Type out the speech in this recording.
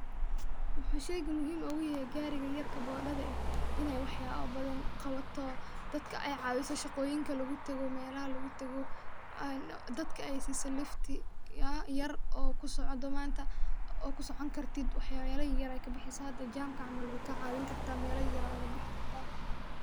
Wuxuu sheeygan muhiim ogu yehe gaarigan yarke bodhade inay wax yaba badan qabato sadka ay caabiso shaqooyinka lagu tago melaha lagu tago dadka ay si so lifti, hala yar oo kusocon manta oo kusocon kartid wax yala yaryar ayay kabixisa, hada jamka camal wayka caawi kartaa mela yar yar aa oga bixi kartaa